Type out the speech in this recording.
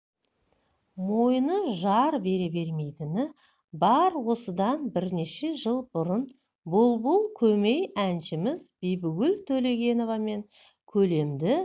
мойыны жар бере бермейтіні бар осыдан бірнеше жыл бұрын бұлбұл көмей әншіміз бибігүл төлегеновамен көлемді